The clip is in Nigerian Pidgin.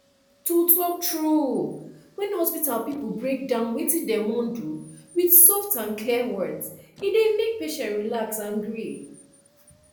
to talk true when hospital people break down wetin dem wan do with soft and clear words e dey make patient relax and gree